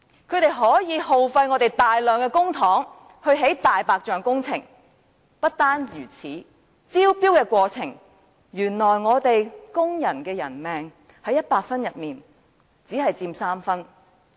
他們耗費大量公帑，興建"大白象"工程；不單如此，原來根據招標的評分準則，工人的生命在100分之中只佔3分！